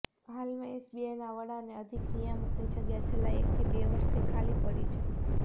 હાલમાં એસીબીના વડા અને અધિક નિયામકની જગ્યા છેલ્લા એકથી બે વર્ષથી ખાલી પડી છે